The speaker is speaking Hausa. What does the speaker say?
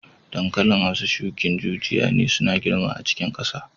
Dankalin Hausa shukin jijiya ne suna girma a cikin kasa.